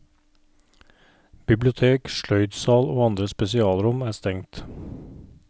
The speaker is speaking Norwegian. Bibliotek, sløydsal og andre spesialrom er stengt.